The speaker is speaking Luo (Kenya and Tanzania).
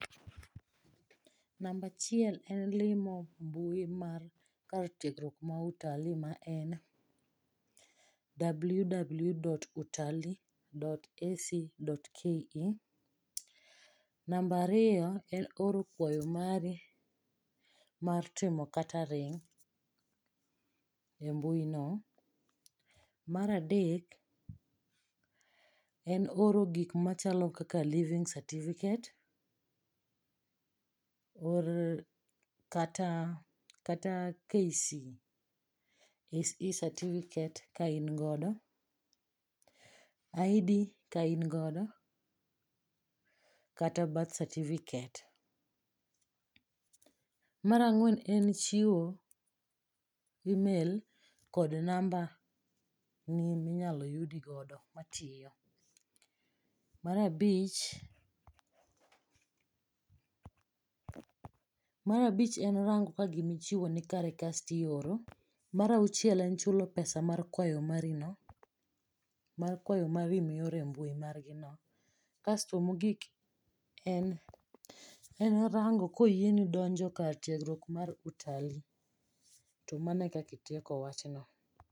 Namba achiel en limo mbui mar kar tiegruok ma Utalii ma en ww.utalii.ac.ke. Namba ariyo en oro kwayo mari mar timo catering e mbuino. Mar adek en oro gikmachalo kaka leaving certificate kata KCSE certificate kaingodo, ID kaingodo kata birth certificate. Mar ang'wen en chiwo email kod namba ni minyalo yudigodo matiyo. Mar abich en rango ka gimichiwo nikare kastioro mar auchiel en chulo pesa mar kwayo marino, mar kawayo mari miore mbui margino kasto mogik en rango koyieni donjo kar tiegruok mar Utalii to mano e kaka itieko wachno.